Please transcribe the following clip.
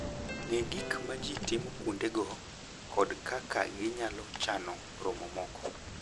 Ng'e gik ma ji timo kuondego kod kaka ginyalo chano romo moko.